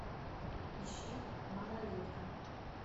ищи малолетка